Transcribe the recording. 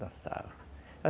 Dançava.